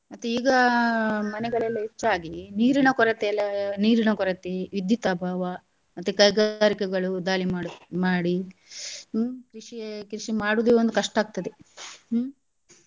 ಮತ್ತೆ ಈಗ ಮನೆಗಳೆಲ್ಲ ಹೆಚ್ಚಾಗಿ ನಿರೀನ ಕೊರತೆಯೆಲ್ಲ ನಿರೀನ ಕೊರತೆ ವಿದ್ಯುತ್ ಅಭಾವ ಮತ್ತೆ ಕೈಗಾರಿಕೆಗಳು ದಾಳಿ ಮಾಡು~ ಮಾಡಿ ಹ್ಮ್ ಕೃಷಿಯೇ ಕೃಷಿ ಮಾಡುದು ಒಂದ್ ಕಷ್ಟಾ ಆಗ್ತದೆ ಹ್ಮ್.